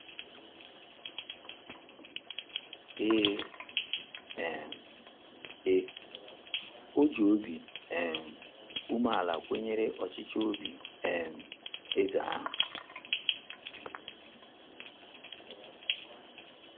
Ee um e, o ji obi um umeala kwenyere ọchịchọ obi um eze ahụ.